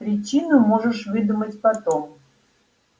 причину можешь выдумать потом